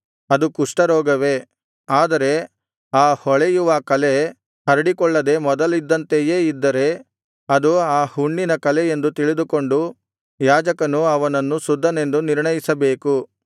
ಆದರೆ ಆ ಹೊಳೆಯುವ ಕಲೆ ಹರಡಿಕೊಳ್ಳದೆ ಮೊದಲಿದ್ದಂತೆಯೇ ಇದ್ದರೆ ಅದು ಆ ಹುಣ್ಣಿನ ಕಲೆಯೆಂದು ತಿಳಿದುಕೊಂಡು ಯಾಜಕನು ಅವನನ್ನು ಶುದ್ಧನೆಂದು ನಿರ್ಣಯಿಸಬೇಕು